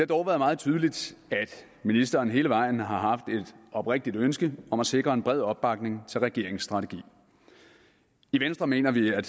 dog været meget tydeligt at ministeren hele vejen har haft et oprigtigt ønske om at sikre en bred opbakning til regeringens strategi i venstre mener vi at